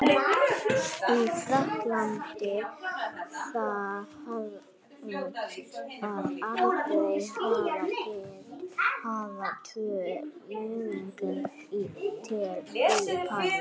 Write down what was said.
En í Frakklandi, þá höfum við aldrei getað haft tvö almennileg lið í París.